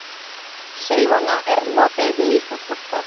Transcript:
Silvana, er opið í Íslandsbanka?